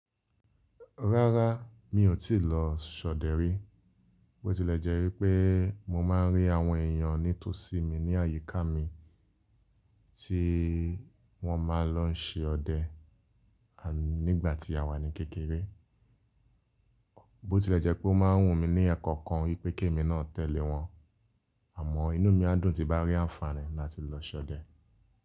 Rárá, mi ò tíì lọ ṣọ̀dẹ rí, bó tilẹ̀ jẹ́ wípé mo máa ń rí àwọn èèyàn ní tòsí mi ní àyíká mi tí wọ́n máa ń lọ ṣe ọdẹ nígbà tí a wà ní kékeré. Bó tilẹ̀ jẹ́ pé wọ́n máa ń wùn mí ní ẹ̀kọ̀kan wípé kémi náà tẹ́lẹ̀ wọn, àmọ́ inú mi á dùn ti bá rí àǹfààní láti lọ ṣọ̀dẹ.